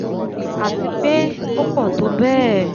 àti pé ó pọ̀ tó bẹ́ẹ̀